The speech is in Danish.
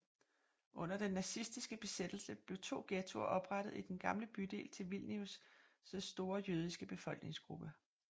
Under den nazistiske besættelse blev to ghettoer oprettet i den gamle bydel til Vilnius store jødiske befolkningsgruppe